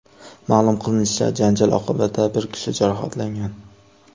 Ma’lum qilinishicha, janjal oqibatida bir kishi jarohatlangan.